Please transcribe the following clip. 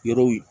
Yɔrɔw